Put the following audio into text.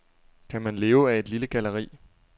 Kan man leve af et lille galleri?